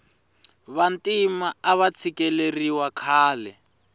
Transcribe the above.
vantima ava tshikeleriwa khale